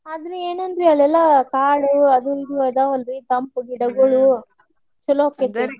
ಅಂದು ಏನಂದ್ರೆ ಅಲ್ಲೆಲ್ಲಾ ಕಾಡು ಅದು ಇದು ಅದಾವಲ್ರಿ ತಂಪ ಗಿಡಗೋಳ ಚುಲೊ ಅಕ್ಕೆತ್ರಿ.